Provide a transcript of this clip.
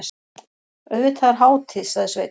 Auðvitað er hátíð, sagði Sveinn.